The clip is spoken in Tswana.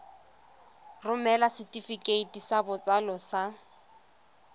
romela setefikeiti sa botsalo sa